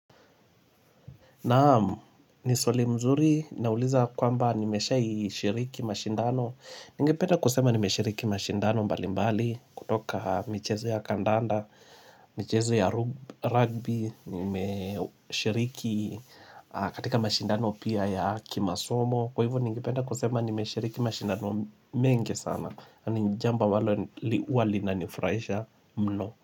Naam, ni swali mzuri, nauliza kwamba nimeshai shiriki mashindano. Ningependa kusema nimeshiriki mashindano mbali mbali kutoka michezo ya kandanda, michezo ya rugby, nimeshiriki katika mashindano pia ya kimasomo. Kwa hivo, ningependa kusema nimeshiriki mashindano mengi sana. Ni njambo ambalo wali na nifraisha mno.